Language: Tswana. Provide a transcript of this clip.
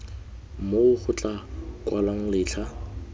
moo go tla kwalwang letlha